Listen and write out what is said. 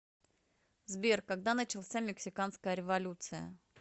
сбер когда начался мексиканская революция